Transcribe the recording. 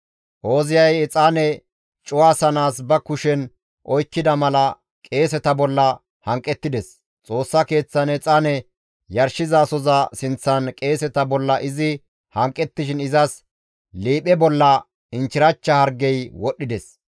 Ooziyay exaane cuwasanaas ba kushen oykkida mala qeeseta bolla hanqettides; Xoossa Keeththan exaane yarshizasoza sinththan qeeseta bolla izi hanqettishin izas liiphe bolla inchchirachcha hargey wodhdhides.